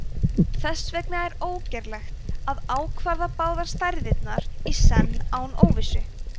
þess vegna er ógerlegt að ákvarða báðar stærðirnar í senn án óvissu